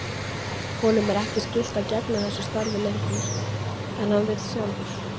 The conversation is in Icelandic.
Honum er ekki skylt að gegna þessu starfi lengur en hann vill sjálfur.